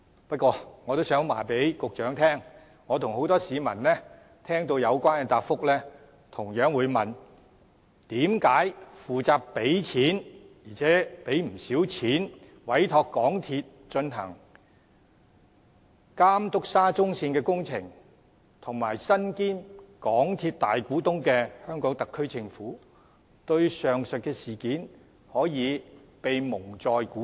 不過，我也想告訴局長，我和很多市民聽到有關的答覆後同樣會問，負責付錢——而且付的不少錢——委託港鐵公司監督沙中線工程及身兼港鐵公司大股東的香港特區政府，對上述的事件為甚麼可以被蒙在鼓裏？